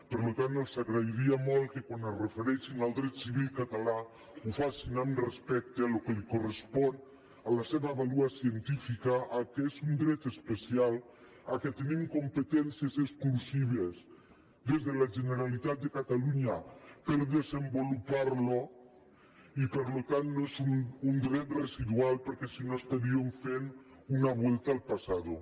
per tant els agrairia molt que quan es refereixin al dret civil català ho facin amb respecte al que li correspon a la seva vàlua científica que és un dret especial que tenim competències exclusives des de la generalitat de catalunya per desenvolupar lo i per tant no és un dret residual perquè si no estaríem fent una vuelta al pasado